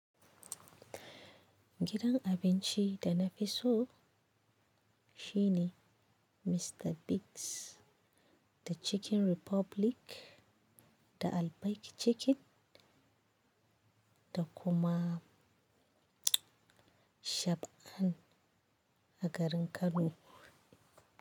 Gidan abinci da na fi so shine Mr Biggs, da Chicken Republic, da Albaik Chicken, da kuma Shoprite a garin Kano.